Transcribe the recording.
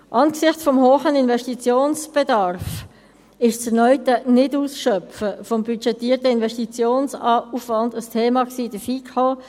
Angesichts des hohen Investitionsbedarfs war das erneute Nicht-Ausschöpfen des budgetierten Investitionsaufwands ein Thema in der FiKo.